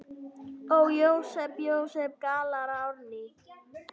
Ó, Jósep, Jósep, galar Árný.